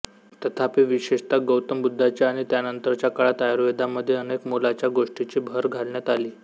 तथापि विशेषतः गौतम बुद्धाच्या आणि त्यानंतरच्या काळात आयुर्वेदामध्ये अनेक मोलाच्या गोष्टींची भर घालण्यात आली